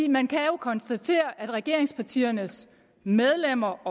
man kan jo konstatere at regeringspartiernes medlemmer